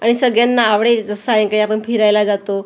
आणि सगळ्यांना आवडेल जसं सायंकाळी आपण फिरायला जातो .]